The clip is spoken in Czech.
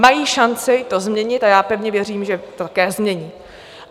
Mají šanci to změnit a já pevně věřím, že to také změní.